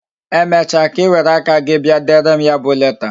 Emecha ka Ị were aka gị bịa dere m ya bụ leta